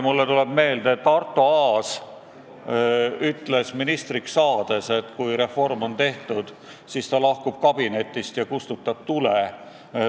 Mulle tuleb meelde, et Arto Aas ütles kunagi, kui ta ministriks sai, et kui reform on tehtud, siis ta lahkub kabinetist ja kustutab tule.